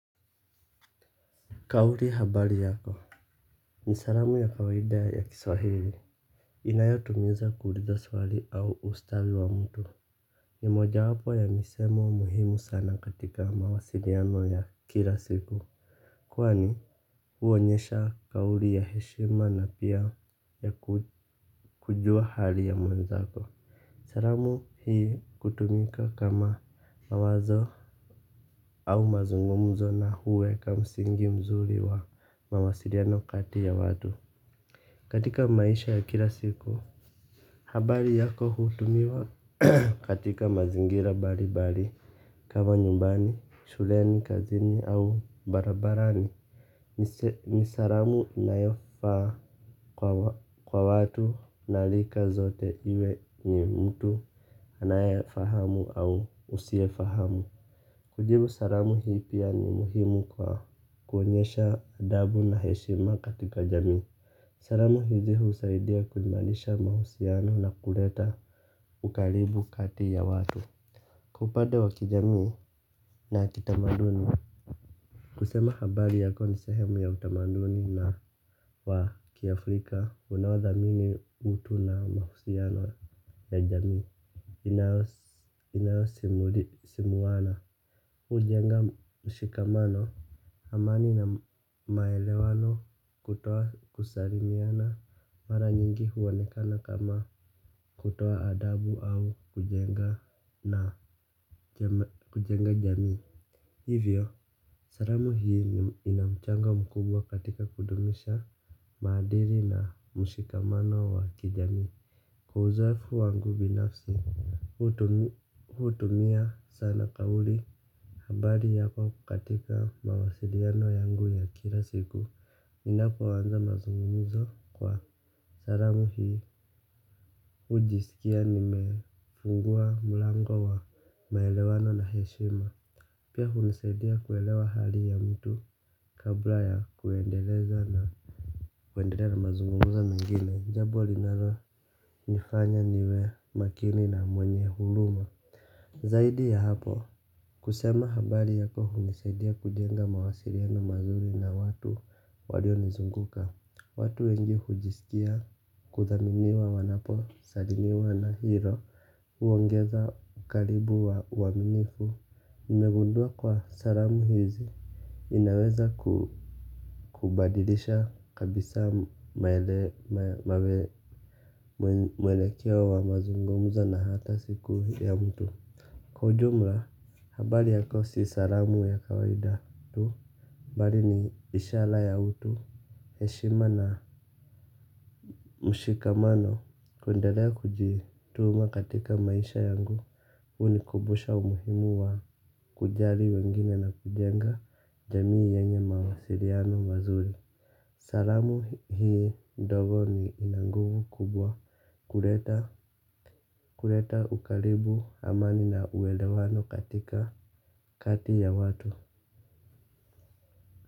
Kauri habari yako. Ni saramu ya kawaida ya kiswahili. Inayotumiza kuuliza swali au ustawi wa mtu. Ni moja wapo ya misemo muhimu sana katika mawasiriano ya kila siku. Kwani huonyesha kauri ya heshima na pia ya kujua hali ya mwenzako. Saramu hii kutumika kama mawazo au mazungumzo na huweka msingi mzuri wa mawasiriano kati ya watu. Katika maisha ya kila siku, habari yako hutumiwa katika mazingira bali bali kama nyumbani, shuleni, kazini au barabarani. Ni saramu inayofaa kwa watu na lika zote iwe ni mtu anaye fahamu au usie fahamu. Kujibu saramu hii pia ni muhimu kwa kuonyesha adabu na heshima katika jamii. Saramu hizi husaidia kuimalisha mahusiano na kuleta ukaribu kati ya watu. Upade wa kijamii na kitamaduni kusema habari yako ni sehemu ya utamaduni na wa kiafrika unao thamini utu na mahusiano ya jamii inaosimuli simuana ujenga mshikamano amani na maelewano kutoa kusalimiana mara nyingi uonekana kama kutoa adabu au kujenga na kujenga jamii hivyo saramu hii ina mchanga mkubwa katika kudumisha maadiri na mshikamano wa kijamii. Kwa uzoefu wangu binafsi hutumia sana kauli habari yako katika mawasiliano yangu ya kila siku ninapo anza mazungumzo kwa saramu hii ujisikia nimefungua mlango wa maelewano na heshima. Pia unisaidia kuelewa hali ya mtu kabla ya kuendeleza na kuenderea na mazungumza mengine, njabo linalo nifanya niwe makini na mwenye huluma. Zaidi ya hapo, kusema habari yako hunisaidia kujenga mawasiriano mazuri na watu walio nizunguka. Watu wengi hujisikia kuthaminiwa wanapo salimiwa na hilo. Uongeza karibu wa uaminifu, nimegundua kwa salamu hizi inaweza kubadilisha kabisa mwelekeo wa mazungumza na hata siku ya mtu. Kwa ujumla habari yako si salamu ya kawaida tu bali ni ishala ya utu. Heshima na mshikamano kunderea kujii tuma katika maisha yangu. Hu nikubusha umuhimu wa kujari wengine na kujenga jamii yenye mawasiriano mazuri. Salamu hii ndogo ni ina nguvu kubwa kuleta ukaribu amani na uelewano katika kati ya watu.